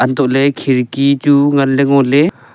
untohley khirki chu nganley ngoley.